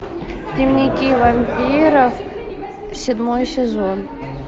дневники вампиров седьмой сезон